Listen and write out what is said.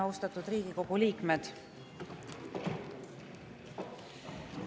Austatud Riigikogu liikmed!